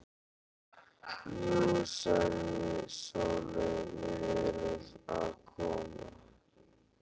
Jú, sagði Sóley, við erum að koma.